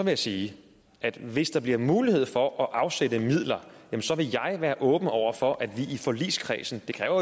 jeg sige at hvis der bliver mulighed for at afsætte midler vil jeg være åben over for at vi i forligskredsen det kræver